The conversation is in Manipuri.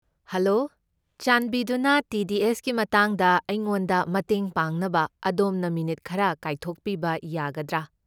ꯍꯂꯣ, ꯆꯥꯟꯕꯤꯗꯨꯅ ꯇꯤ.ꯗꯤ.ꯑꯦꯁ.ꯀꯤ ꯃꯇꯥꯡꯗ ꯑꯩꯉꯣꯟꯗ ꯃꯇꯦꯡ ꯄꯥꯡꯅꯕ ꯑꯗꯣꯝꯅ ꯃꯤꯅꯤꯠ ꯈꯔ ꯀꯥꯏꯊꯣꯛꯄꯤꯕ ꯌꯥꯒꯗ꯭ꯔꯥ?